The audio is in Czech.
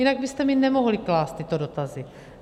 Jinak byste mi nemohli klást tyto dotazy.